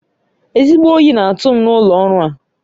Ezigbo oyi na-atụ m n'ụlọ ọrụ a